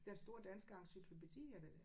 Den store danske encyklopædi er det?